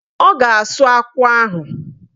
Ọ ga-asụ akwụ ahụ.